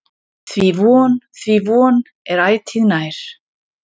Því von, því von, er ætíð nær.